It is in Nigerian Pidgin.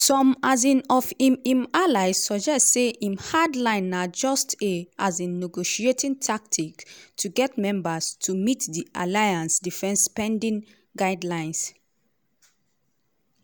some um of im im allies suggest say im hard line na just a um negotiating tactic to get members to meet di alliance defence spending guidelines.